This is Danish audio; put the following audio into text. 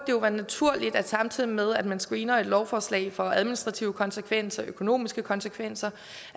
være naturligt at man samtidig med at man screener et lovforslag for administrative konsekvenser og økonomiske konsekvenser